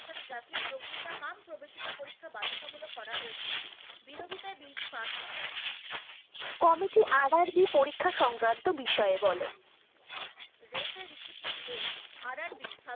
করা হয়েছে, বিরোধিতায় bill টি pass হয়। committee RRB পরিক্ষা সংক্রান্ত বিষয়ে বল। Railway Recruitment Board RRB